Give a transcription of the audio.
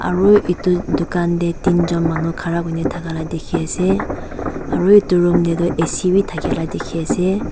aru etu dukan teh tinjon manu khara kuni thaka lah dikhi ase aru etu room teh tu A_C bi thakela dikhi ase.